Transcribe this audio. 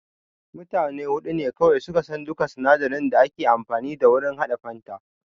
Mutane huɗu ne kawai suka san duka sinadarin da ake amfani da wurin haɗa fanta